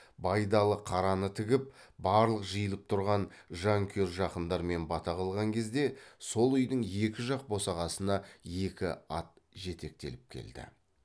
байдалы қараны тігіп барлық жиылып тұрған жанкүйер жақындармен бата қылған кезде сол үйдің екі жақ босағасына екі ат жетектеліп келді